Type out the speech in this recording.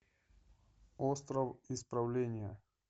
остров исправления